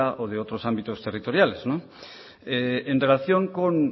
o de otros ámbitos territoriales en relación con